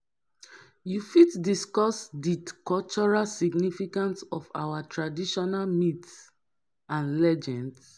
you fit discuss di cultural significance of our traditional myths and legends.